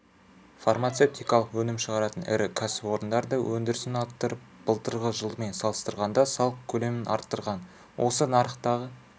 фармацевтикалық өнім шығаратын ірі кәсіпорындар да өндірісін арттырып былтырғы жылмен салыстырғанда салық көлемін арттырған осы нарықтағы